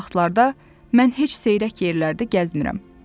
Belə vaxtlarda mən heç seyrək yerlərdə gəzmirəm.